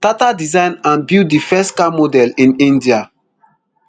tata design and build di first car model in india